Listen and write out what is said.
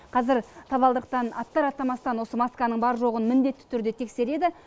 қазір табалдырықтан аттар аттамастан осы масканың бар жоғын міндетті түрде тексереді